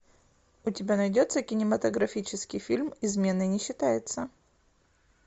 у тебя найдется кинематографический фильм измена не считается